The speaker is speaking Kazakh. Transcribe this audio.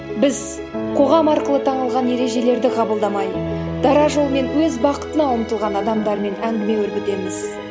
біз қоғам арқылы танылған ережелерді қабылдамай дара жолмен өз бақытына ұмтылған адамдармен әңгіме өрбітеміз